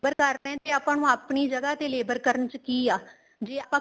labor ਕਰਦੇ ਹਾਂ ਤੇ ਆਪਾਂ ਨੂੰ ਆਪਣੀ ਜਗਾਂ ਤੇ labor ਕਰਨ ਚ ਕੀ ਆ ਜ਼ੇ ਆਪਾਂ